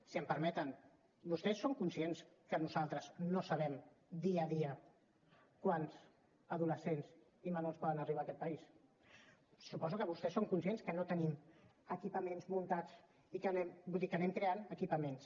si m’ho permeten vostès són conscients que nosaltres no sabem dia a dia quants adolescents i menors poden arribar a aquest país suposo que vostès són conscients que no tenim equipaments muntats i que anem creant equipaments